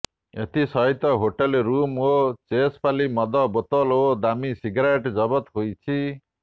ଏଥିସହିତ hotel room ରୁ ଚେସପାଲି ମଦ ବୋତଲ ଓ ଦାମି ସିଗାରେଟ୍ ଜବତ ହୋଇଛି